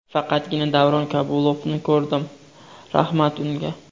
Faqatgina Davron Kabulovni ko‘rdim, rahmat unga.